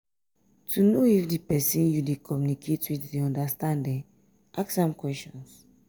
to know if di persin you de communicate with dey understand ask am questions